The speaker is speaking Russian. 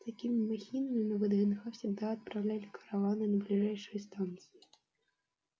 с такими махинами на вднх всегда отправляли караваны на ближайшие станции